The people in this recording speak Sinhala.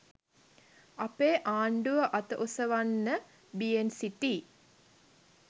අපේ ආණ්ඩුව අත ඔසවන්න බියෙන් සිටී